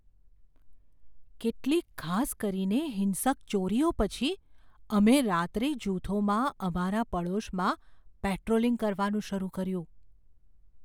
કેટલીક ખાસ કરીને હિંસક ચોરીઓ પછી અમે રાત્રે જૂથોમાં અમારા પડોશમાં પેટ્રોલિંગ કરવાનું શરૂ કર્યું.